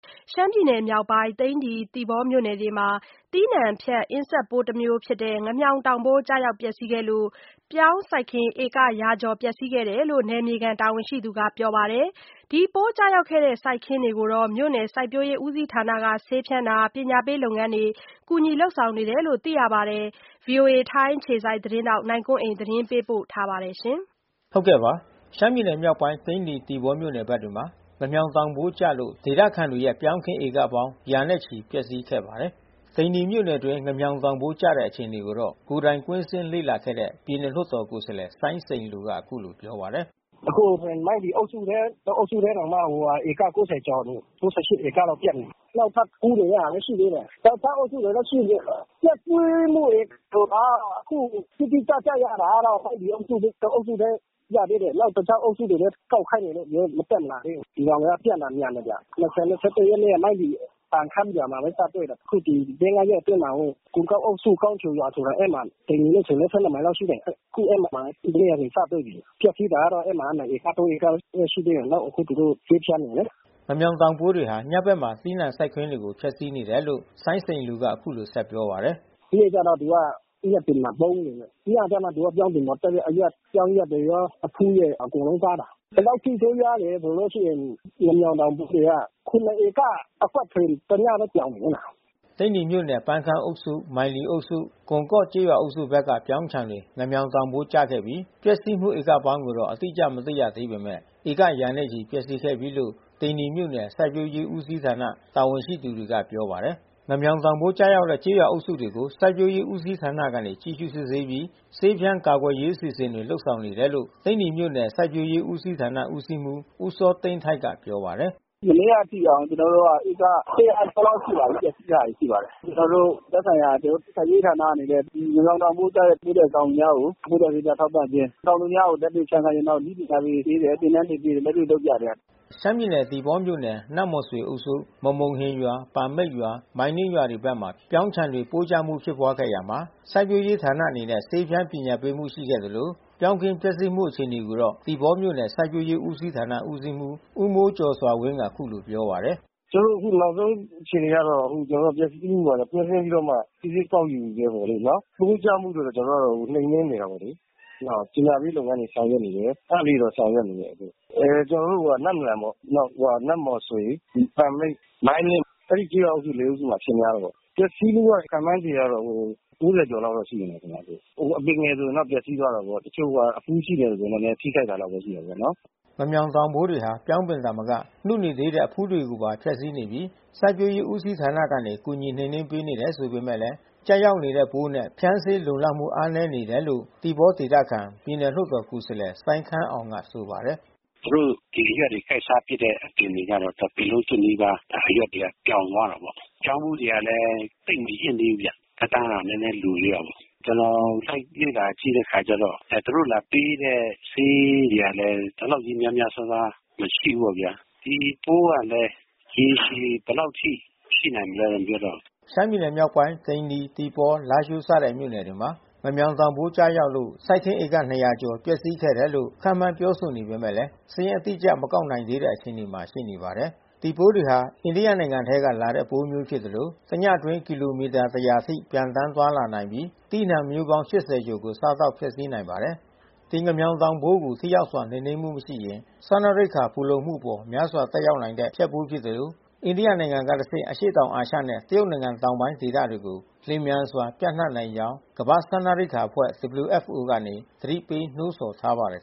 ရှမ်းပြည်မြောက်ပိုင်း သိန္နီ၊ သီပေါမြို့နယ်တွေမှာ သီးနှံဖျက် အင်ဆက်ပိုးတမျိုးဖြစ်တဲ့ ငမြှောင်တောင် ပိုး ကျရောက် ဖျက်စီးခဲ့လို့ ပြောင်းစိုက်ခင်းဧက ရာကျော် ပျက်စီးခဲ့တယ်လို့ နယ်မြေခံတာဝန်ရှိ သူတွေက ပြောပါတယ်။ ပိုးကျရောက် ခဲ့တဲ့စိုက်ခင်းတွေကို မြို့နယ်စိုက်ပျိုးရေးဦးစီးဌာနကနေ ဆေးဖြန်းခြင်း ပညာပေးလုပ်ငန်းကူညီလုပ်ဆောင်နေတယ်လို့လည်း ဆိုပါတယ်။ ဗွီအိုအေ ထိုင်းအခြေစိုက်သတင်းထောက် နိုင်ကွန်းအိန် သတင်းပေးပို့ထားပါတယ်။ ရှမ်းပြည်နယ်မြောက်ပိုင်း သိန္နီ၊ သီပေါမြို့နယ်တွေမှာ ငမြှောင်တောင်ပိုးကျလို့ ဒေသခံတွေရဲ့ ပြောင်း ခင်း ဧက ပေါင်းရာ ချီ ပျက်စီးခဲ့ပါတယ်။ သိန္နီမြို့နယ် အတွင်း ငမြှောင်တောင်ပိုးကျတဲ့ အခြေအနေ ကိုတော့ ကိုယ်တိုင်ကွင်းဆင်းလေ့လာခဲ့တဲ့ ပြည်နယ် လွှတ်တာ်ကိုယ်စားလှယ် စိုင်းစိန်လူက အခုလို ပြောပါတယ်။ “အခုဆိုရင် မိုင်းလီအုပ်စုထဲ တအုပ်စုထဲတောင်မှ ဧက ကျော်နေပြီ။ ဧကလောက် ပျက် နေပြီ။ နောက်ထပ်ကူးနေတဲ့ ဟာလည်း ရှိသေးတယ်။ တခြားအုပ်စုတွေလည်း ရှိမှာပေါ့။ ပျက်စီး မှုတွေကိုက ခုတိတိကျကျရတာကတော့ မိုင်းလီအုပ်စု တအုပ်စုပဲ ရသေးတယ်။ တခြား အုပ်စုတွေလည်း ကောက်ခိုင်းနေတာမတက်လာသေးဘူး။ ဒီကောင်တွေက ပြန့်တာ မြန်တယ်ဗျ။ ၂၀-၂၁ ရက်နေ့က မိုင်းလီ ပန်ခမ်းရွာမှာပဲ စတွေ့တယ်။ အခု ဒီ လေးငါးရက်အတွင်းမှာ ကွန်ကော့ အုပ်စု ကောင်းချိန်ရွာဆို တာ ။ အဲမှာ သိန္နီမြို့နဲ့ဆို မိုင်လောက်ရှိတယ်။ ခုအဲဒီမှာမနေ့က စတွေ့ပြီ။ ပျက်စီးတာက နှစ်ဧက၊ သုံးဧကရှိသေးတယ်။ နောက်အခု သူတို့ ဆေးဖြန်းတယ်လေ။” ငမြှောင်တောင်ပိုးတွေဟာ ညဘက်မှာ သီးနှံစိုက်ခင်းတွေကို ဖျက်စီးနေတယ်လို့ စိုင်းစိန်လူက အခုလိုပြောပါတယ်။ “နေ့ဘက်တော့ သူက သစ်ရွက်တွေမှာ ပုန်းနေတယ်။ ညဘက်မှ ပြောင်းပင်ပေါ်တက်ပြီး အရွက် ပြောင်းရွက်တွေရော အဖူးရယ် အကုန်လုံးစားတာ။ ဘယ်လောက်အထိ ဆိုးရွားတယ်ဆိုလို့ရှိရင် ငမြှောင်တောင်ပိုးသူက ဧက အကွက်ဆို တညပဲ ပြောင်တယ်။” သိန္နီမြို့နယ် ပန်ခမ်းအုပ်စု ၊ မိုင်းလီအုပ်စု ကွန်ကော့ကျေးရွာအုပ်စုဘက်က ပြောင်းခြံတွေ ငမြှောင်တောင် ပိုးကျခဲ့ပြီး ပျက်စီးမှု ဧကပေါင်းကိုတော့ အတိအကျ မသိရသေးပေမဲ့ ဧကရာချီပျက်စီးခဲ့ပြီလို့ သိန်းနီမြို့နယ် စိုက်ပျိုးရေး ဦးစီးဌာနတာဝန်ရှိသူတွေက ပြောပါတယ်။ ငမြှောင်တောင်ပိုးကျရောက်တဲ့ကျေးရွာအုပ်စုတွေကို စိုက်ပျိုးရေး ဦးစီးဌာနကနေ ကြည့်ရှုစစ်ဆေးပြီး ဆေးဖြန်း ကာကွယ်ရေးအစီအစဉ်တွေ လုပ်ဆောင်နေတယ်လို့ သိန္နီမြို့နယ် စိုက်ပျိုးရေးဦးစီးဌာန ဦးစီးမှူး ဦးစောသိန်းထိုက်က ပြောပါတယ်။ “မနေ့က အထိက ကျနော်တို့က ကျော်လောက်ရှိပါပြီ။ ပျက်စီးတာတွေရှိပါတယ်။ သက်ဆိုင် ရာစိုက်ပျိုးရေးဌာနအနေနဲ့ ငမြောင်တောင်ပိုးကျတဲ့ ကျေးလက်တောင်သူများကို ပိုးသတ်ဆေးများ ထောက်ပံ့ခြင်း တောင်သူများကို လက်တွေ့ဖြန်းခိုင်းခြင်း။ နောက်နည်းပညာတွေပေးတယ် သင်တန်းတွေပေးတယ်။ လက်တွေ့ လုပ်ပြတယ်။” ရှမ်းပြည်နယ်သီပေါမြို့နယ် နမ့်မော်ဆွေအုပ်စု ၊ မမုန့်ဟင်ရွာ၊ ပန်မိတ်ရွာ၊ မိုင်းနင်းရွာတွေဘက်က ပြောင်းခြံတွေ ပိုးကျမှုဖြစ်ပွါးခဲ့ရာမှာ စိုက်ပျိုးရေး ဌာနအနေနဲ့ ဆေးဖြန်းပညာပေးမှုရှိခဲ့သလို ပြောင်း ခင်းပျက်စီးမှုအခြေအနေ ကိုတော့ သီပေါမြို့နယ် စိုက်ပျိုးရေးဦးစီးဌာနဦးစီးမှူး ဦးမိုးကျော်စွာဝင်းက အခုလိုပြောပါတယ်။ “ကျနော်တို့ အခုနောက်ဆုံးအခြေအနေကတော့ ပျက်စီးမှုတွေကို ကွင်းဆင်းပြီးတော့မှ စစ်ဆေး ကောက်ယူဆဲပဲလို့ နော်။ ပိုးကျမှုတော့ ကျနော်တို့ နှိမ်နှင်းနေတာပေါ့လေ။ နောက်ပညာပေး လုပ်ငန်းတွေ ကျနော်တို့ ဆောင်ရွက် နေတယ်။ အဲတာလေးတွေတော့ဆောင်ရွက်နေတယ်လို့။ အဲ ကျနော်တို့ နမ့်လျန်ပေါ့ နောက်-နန့်မော်ဆွေ၊ ပန်မိတ်၊ မိုင်းနင်း၊ အဲဒီကျေးရွာ အုပ်စုမှာ အဖြစ်များ တယ်ပေါ့။ ပျက်စီးမှုခန့်မှန်းခြေကတော့ ဧက ကျော် လောက်တော့ ရှိမယ် ခင်ဗျ။ အပင်ငယ် ဆိုရင်တော့ပျက်စီးသွားတာပေါ့။ တချို့ဟာ အဖူးရှိမယ်ဆိုရင် နည်းနည်း ထိခိုက်တာလောက်ပဲ ရှိမှာပေါ့နော်။” ငမြှောင်တောင်ပိုးတွေဟာ ပြောင်းပင်သာမက နုနေသေးတဲ့အဖူးတွေကိုပါ ဖျက်စီးနေပြီး စိုက်ပျိုးရေး ဦးစီးဌာနကနေ ကူညီနှိမ်နှင်းပေးနေတယ်ဆိုပေမဲ့ ကျရောက်နေတဲ့ပိုးနဲ့ ဖြန်းဆေးလုံလောက်မှု အားနည်းနေတယ်လို့ သီပေါဒေသခံ ပြည်နယ်လွှတ်တော်ကိုယ်စားလှယ် စိုင်းခမ်းအောင်က ဆိုပါတယ်။ “သူတို့ ဒီအရွက်တွေကိုက်စားပစ်တဲ့အပင်တွေကတော့ တပင်လုံးကျွတ်နီးပါး အရွက်တွေက ပြောင် သွားတာပေါ့။ ပြောင်း ဖူးတွေကလည်း သိပ်မရင့် သေးဘူး ဗျ။ သက်တမ်းက နည်းနည်း လိုသေးတာ ပေါ့။ ကျနော် လိုက်လေ့လာကြည့်တဲ့အခါကျတော့ သူတို့လာပေးတဲ့ဆေးတွေကလည်း ဒီလောက် လည်း များများစားစားမရှိဘူးပေါ့ဗျာ။ ဒီပိုးကလည်း ရေရှည်ဘယ်လောက်အထိ ရှိနိုင်မလဲတော့ မပြောတတ်ဘူး။” ရှမ်းပြည်မြောက်ပိုင်း သိန္နီ၊ သီပေါ လားရှိုးစတဲ့မြို့နယ်တွေမှာ ငမြောင်တောင်ပိုးကျရောက်လို့ စိုက်ခင်း ဧက ကျော် ပျက်စီးခဲ့တယ်လို့ ခန့်မှန်းပြောဆိုနေပေမဲ့ စာရင်းအတိအကျ မကောက်ယူနိုင်သေးတဲ့အခြေအနေမှာရှိနေ ပါတယ်။ ဒီပိုးတွေဟာ အိန္ဒိယနိုင်ငံကနေလာတဲ့ပိုးမျိုးဖြစ်သလို တညအတွင်း ကီလိုမီတာ ၁၀၀ အထိ ပျံသန်း သွားနိုင်ပြီး သီးနှံမျိုးပေါင်း ၈၀ ကျော်ကို စားသောက်ဖျက်ဆီးနိုင်ပါတယ်။ ဒီငမြှောင်တောင်ပိုးကို ထိရောက်စွာနှိမ်နင်းနိုင်မှု မရှိရင် စားနပ်ရိက္ခာဖူလုံမှုအပေါ် များစွာ သက်ရောက်နိုင်တဲ့ ဖျက်ပိုး ဖြစ်သလို အိန္ဒိယနိုင်ငံကတဆင့် အရှေ့တောင်အာရှနဲ့ တရုတ်နိုင်ငံ တောင်ပိုင်းဒေသတွေကို လျှင်မြန်စွာ ပြန့်နှံ့နိုင်ကြောင်း ကမ္ဘာ့စားနပ်ရိက္ခာအဖွဲ့ ကနေ သတိပေး နှိုးဆော်ထား ပါတယ်